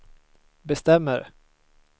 bestämmer